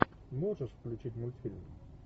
можешь включить мультфильм